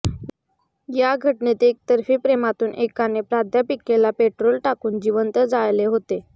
या घटनेत एकतर्फी प्रेमातून एकाने प्राध्यापिकेला पेट्रोल टाकून जिवंत जाळले होते